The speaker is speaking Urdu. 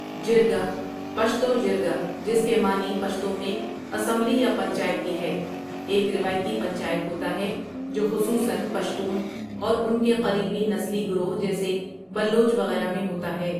جرگہ پشتو جرګہ جس کے معنی پشتو میں اسمبلی یا پنچایت کی ہے ایک روایتی پنچایت ہوتا ہے جو خصوصا پشتون اور ان کے قریبی نسلی گروہ جیسے بلوچ وغیرہ میں ہوتا ہے ۔